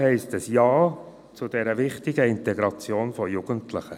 heisst, ein Ja zu geben zu der wichtigen Integration von Jugendlichen.